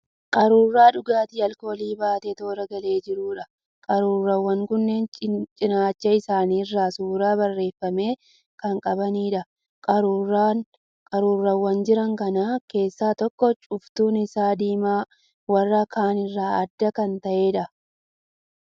Qaruuraa dhugaatii alkoolii baatee toora galee jiruudha. Qaruuraawwan kunneen cinaacha isaanii irraa suuraa barreeffame kan qabaniidha. Qaruuraawwan jira kana keessaa tokko cuftuun isaa diimaa warra ka'aan irraa adda kan ta'eedha.